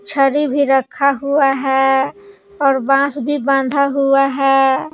छरी भी रखा हुआ है और बांस भी बांधा हुआ है।